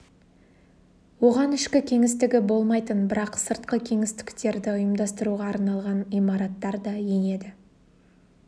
оған ішкі кеңістігі болмайтын бірақ сыртқы кеңістіктерді ұйымдастыруға арналған имараттар да енеді